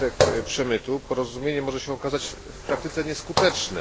wskutek przemytu, porozumienie może się okazać w praktyce nieskuteczne.